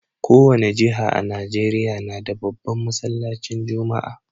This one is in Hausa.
Kowani jiha a Nijeriya nada babban masallacin juma'a